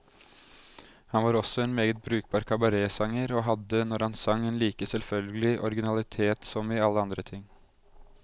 Han var også en meget brukbar kabaretsanger, og hadde, når han sang, en like selvfølgelig originalitet som i alle andre ting.